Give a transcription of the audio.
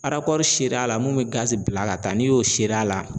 a la mun bɛ gazi bila ka taa n'i y'o a la.